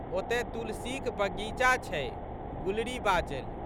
ओतए तुलसीक बगीचा छै। गुलरी बाजलि।